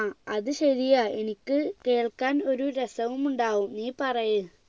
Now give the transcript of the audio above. ആ അത് ശരിയാ എനിക്ക് കേൾക്കാൻ ഒരു രസവുമുണ്ടാകും നീ പറയ്